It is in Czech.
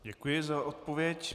Děkuji za odpověď.